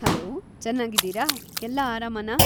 Hello, ಚೆನ್ನಾಗಿದೀರಾ? ಎಲ್ಲ ಆರಾಮನಾ?